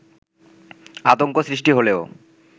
আতংক সৃষ্টি হলেও